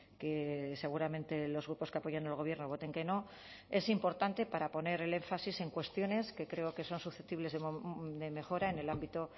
que seguramente los grupos que apoyan al gobierno voten que no es importante para poner el énfasis en cuestiones que creo que son susceptibles de mejora en el ámbito